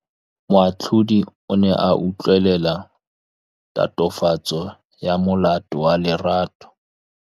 Moatlhodi o ne a utlwelela tatofatsô ya molato wa Lerato.